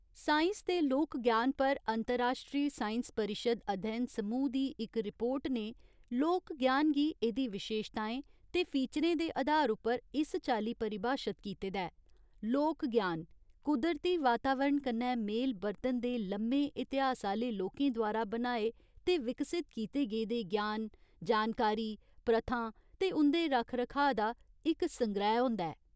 Science ते लोक ज्ञान पर अंतर्राश्ट्री साइंस परिशद् अध्ययन समूह् दी इक रिपोर्ट ने लोक ज्ञान गी एह्दी विशेशताएं ते फीचरें दे अधार उप्पर इस चाल्ली परिभाशत कीते दा ऐ, 'लोक ज्ञान' कुदरती वातावरण कन्नै मेल बर्तन दे लम्मे इतिहास आह्‌ले लोकें द्वारा बनाए ते विकसत कीते गेदे ज्ञान, जानकारी, प्रथां ते उं'दे रक्ख रखाऽ दा इक संग्रैह् होंदा ऐ।